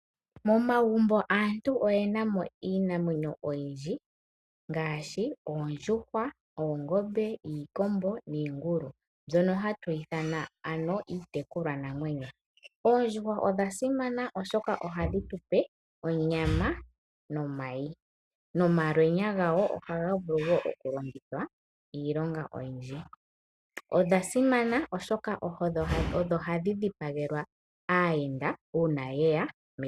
Momagumbo aantu oyenamo iinamwenyo oyindji ngaashi oondjuhwa, oongombe, iikombo niingulu mbyono hatu ithama ano iitekulwa namwenyo. Oondjuhwa odha simana oshoka ohadhi tupe onyama nomayi ,momalwenya gadho ohaga vulu woo okulongithwa iilonga oyindji . Odha simana oshoka odho hadhi dhipagelwa aayenda uuna yeya megumbo.